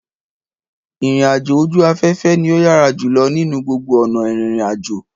Ìrìnàjò ojú aféfé ni ó yára jùlo nínú gbogbo ònà írínrínàjò